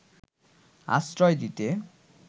আশ্রয় দিতে